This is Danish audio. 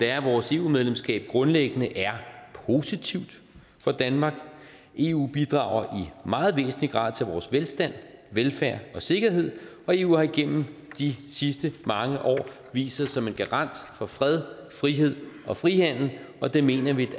er at vores eu medlemskab grundlæggende er positivt for danmark eu bidrager i meget væsentlig grad til vores velstand velfærd og sikkerhed og eu har igennem de sidste mange år vist sig som en garant for fred frihed og frihandel og det mener vi